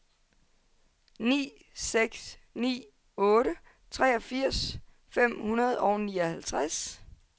ni seks ni otte treogfirs fem hundrede og nioghalvtreds